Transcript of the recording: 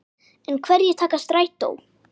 En hverjir taka strætó?